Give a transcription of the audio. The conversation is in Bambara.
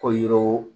Ko yiriw